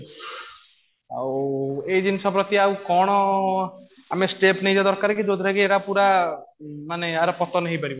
ଆଉ ଏଇ ଜିନିଷ ପ୍ରତି ଆଉ କଣ ଆମେ step ନେଇଯିବା ଦରକାର କି ଯୋଉଥିରେ କି ଏଟା ପୁରା ମାନେ ୟାର ପତନ ହେଇପାରିବ